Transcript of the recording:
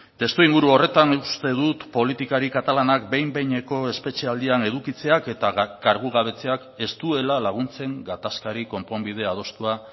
testuinguru horretan uste dut politikari katalanak behin behineko espetxealdian edukitzeak eta kargugabetzeak ez duela laguntzen gatazkari konponbide adostua